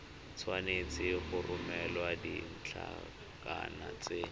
tshwanetse go romela ditlankana tse